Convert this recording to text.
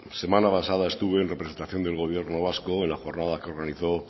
semana pasada estuve en representación del gobierno vasco en la jornada que organizó